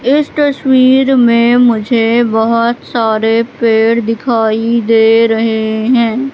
इस तस्वीर में मुझे बहोत सारे पेड़ दिखाई दे रहे हैं।